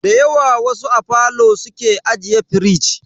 Dayawa wasu a falo suke ajiye firij.